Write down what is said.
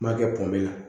N ma kɛ pɔnbɛ la